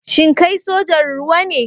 Shin kai sojan ruwa ne?